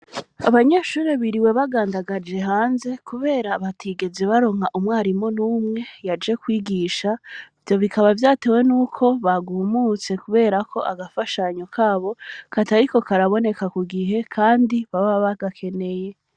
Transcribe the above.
Abanyeshuri biriwe bagandagaje hanze, kubera abatigezi baronka umwarimo n'umwe yaje kwigisha vyo bikaba vyatewe ni uko bagumutse kuberako agafashanyo kabo kataliko karaboneka ku gihe, kandi baba bagakeneye.